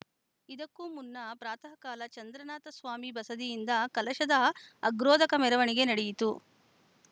ಇದಕ್ಕೂ ಮುನ್ನ ಪ್ರಾತಃಕಾಲ ಚಂದ್ರನಾಥ ಸ್ವಾಮಿ ಬಸದಿಯಿಂದ ಕಲಶದ ಅಗ್ರೋದಕ ಮೆರವಣಿಗೆ ನಡೆಯಿತು